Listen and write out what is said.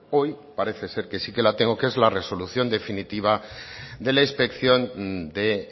hoy parece ser que sí que la tengo que es la resolución definitiva de la inspección de